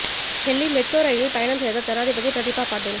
Delhi metro ரயிலில் பயணம் செய்தார் ஜனாதிபதி பிரதீபா பாட்டில்